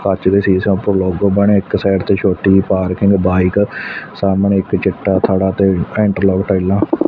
ਕੱਚ ਦਾ ਸ਼ੀਸ਼ਾ ਉੱਪਰ ਲੋਗੋ ਬਣਿਆ ਇੱਕ ਸਾਈਡ ਤੇ ਛੋਟੀ ਜਿਹੀ ਪਾਰਕਿੰਗ ਬਾਈਕ ਸਾਹਮਣੇ ਇੱਕ ਚਿੱਟਾ ਥੜਾ ਤੇ ਟਾਈਲਾਂ ।